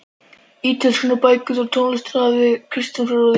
Ítölskuna, bækurnar og tónlistina hafði Kristján frá Þórði